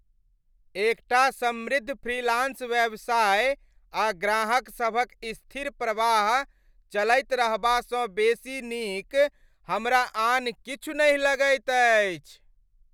एकटा समृद्ध फ्रीलांस व्यवसाय आ ग्राहकसभक स्थिर प्रवाह चलैत रहबासँ बेसी नीक हमरा आन किछु नहि लगैत अछि।